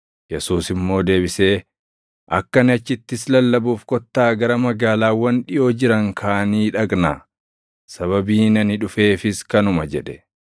Yesuus immoo deebisee, “Akka ani achittis lallabuuf kottaa gara magaalaawwan dhiʼoo jiran kaanii dhaqnaa. Sababiin ani dhufeefis kanuma” jedhe.